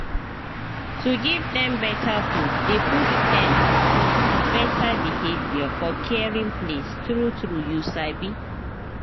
to give dem better food dey push dem to better behavior for caring place true true you sabi